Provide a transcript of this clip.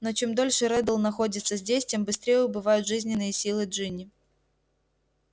но чем дольше реддл находится здесь тем быстрее убывают жизненные силы джинни